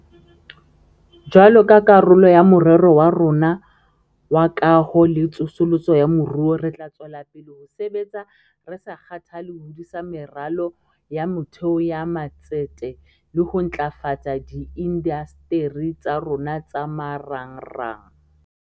Jwalo ka karolo ya Morero wa rona wa Kaho le Tsosoloso ya Moruo, re tla tswela pele ho sebetsa re sa kgathale ho hodisa meralo ya motheo ya matsete le ho ntlafatsa diindasteri tsa rona tsa marangrang.